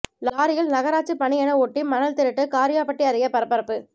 லாரியில் நகராட்சி பணி என ஒட்டி மணல் திருட்டு காரியாபட்டி அருகே பரபரப்பு